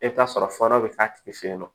E bɛ t'a sɔrɔ fɔ dɔ bɛ k'a tigi fe yen nɔ